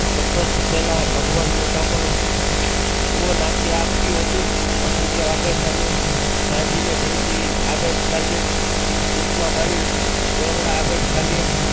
તટસ્થ પહેલા ભગવાન મોઢા પર અહોવાશ્ય આપ્યું હતું. વસુદેવ આગળ ચાલે કાનજીને દેવજી આગળ ચાલે ખોટમાં પાણી ડહોળવા આગળ ચાલે